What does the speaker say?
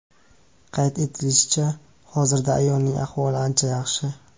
Qayd etilishicha, hozirda ayolning ahvoli ancha yaxshi.